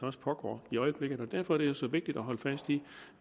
også pågår i øjeblikket derfor er det så vigtigt at holde fast i